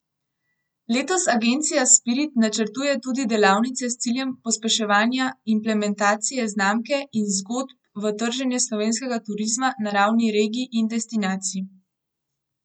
Letos agencija Spirit načrtuje tudi delavnice s ciljem pospeševanja implementacije znamke in zgodb v trženje slovenskega turizma na ravni regij in destinacij.